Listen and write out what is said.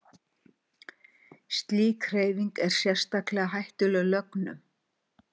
slík hreyfing er sérstaklega hættuleg lögnum